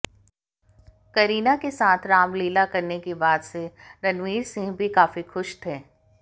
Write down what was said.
करीना के साथ रामलीला करने की बात से रणवीर सिंह भी काफी खुश थे